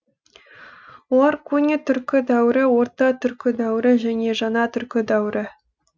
олар көне түркі дәуірі орта түркі дәуірі және жаңа түркі дәуірі